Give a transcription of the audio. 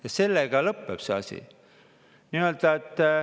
Ja sellega lõpeb see asi.